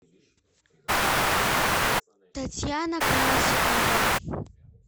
татьяна красикова